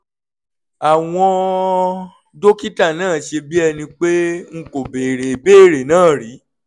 àwọn dókítà náà ṣe bí ẹni pé n kò bèèrè ìbéèrè náà rí